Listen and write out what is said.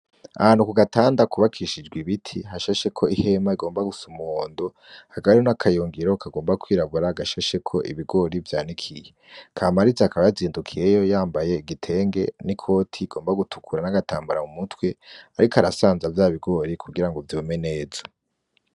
Ahantu kugatanda kubakushijwe ibiti hashasheko ihema rigomba gusa n'umuhondo, hakaba hari n'akayungiro kagomba kwirabura gashasheko ibigori vyanikiye .Kamariza akaba yazindukiyeyo yambaye igitenge n'ikoti igomba gutukura n'agatambara mumutwe ariko arasanza vyabigori kugira vyumye neza.